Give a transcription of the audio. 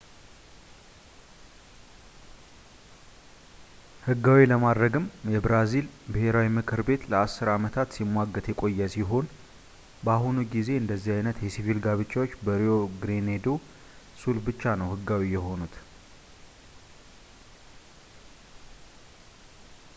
ሕጋዊ ለማድረግም የብራዚል ብሔራዊ ምክር ቤት ለ10 አመታት ሲሟገት የቆየ ሲሆን፣ በአሁኑ ጊዜ አንደዚህ ዓይነት የሲቪል ጋብቻዎች በrio grande do sul ብቻ ነው ሕጋዊ የሆኑት